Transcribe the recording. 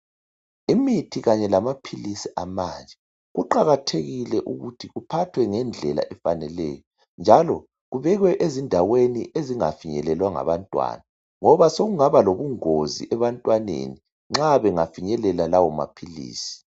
Imithi kanye lamaphilisi amanje kuqakathekile ukuthi kuphathwe ngendlela efaneleyo njalo kubekwe ezindaweni ezingafinyelelwa ngabantwana ngoba sokungaba lobungozi ebantwaneni nxa bengafinyelela lawo maphilisi.